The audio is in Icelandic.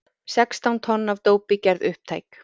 Sextán tonn af dópi gerð upptæk